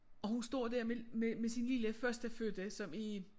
Og hun står dér med med med sin lille førstefødte som er